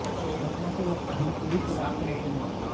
घटना के वक्त भी पुलिस शराब के नशे में थे